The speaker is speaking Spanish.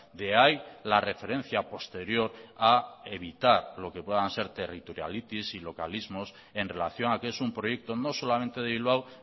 de ahí la referencia posterior a evitar lo que puedan ser territorialitis y localismos en relación a que es un proyecto no solamente de bilbao